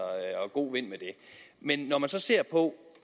god vind med det men når man så ser på